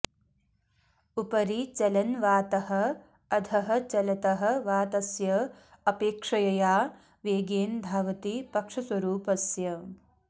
उपरि चलन् वातः अधः चलतः वातस्य अपेक्ष्यया वेगेन धावति पक्षस्वरूपस्य्